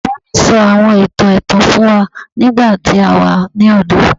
Baba mi sọ awọn itan ẹtan fun wa nigbati a wa ni ọdọ